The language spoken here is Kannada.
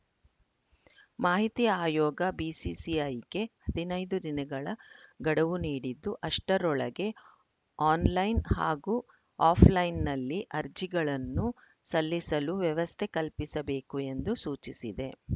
ಮಾಹಿತಿ ಆಯೋಗ ಬಿಸಿಸಿಐಗೆ ಹದಿನೈದು ದಿನಗಳ ಗಡುವು ನೀಡಿದ್ದು ಅಷ್ಟರೊಳಗೆ ಆನ್‌ಲೈನ್‌ ಹಾಗೂ ಆಫ್‌ಲೈನ್‌ನಲ್ಲಿ ಅರ್ಜಿಗಳನ್ನು ಸಲ್ಲಿಸಲು ವ್ಯವಸ್ಥೆ ಕಲ್ಪಿಸಬೇಕು ಎಂದು ಸೂಚಿಸಿದೆ